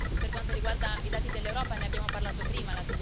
Per quanto riguarda i dati dell'Europa ne abbiamo parlato prima.